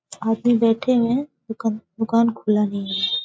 आदमी बैठे हुए हैं। दुकान दुकान खुला नहीं है।